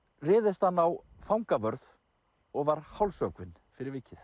réðist hann á fangavörð og var hálshöggvinn fyrir vikið